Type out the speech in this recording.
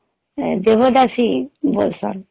devadasi ବସନ